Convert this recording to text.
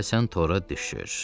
Deyəsən tora düşür.